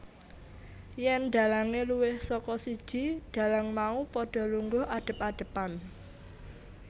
Yèn dhalange luwih saka siji dhalang mau padha lungguh adep adepan